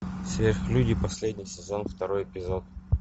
сверхлюди последний сезон второй эпизод